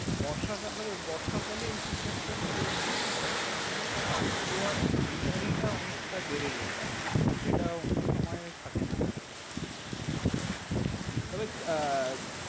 বর্ষাকাল হলে বর্ষাকালে এই feedback টা আমি পেয়েছি যে, বর্ষাকালে south গোয়ার greenery টা অনেকটা বেড়ে যায়। হম হম যেটা অন্য সময় থাকে না আরকি। তবে আহ